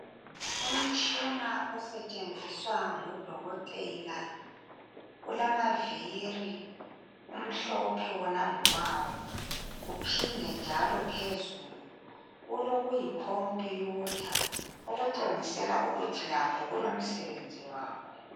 Umtshina osetshenziswa ngudokotela, ulamaviri, umhlophe wona ngokwawo. Uphinde njalo phezulu, ulokuyi computer. Okutshengisela ukuthi lakho kulomsebenzi wakho.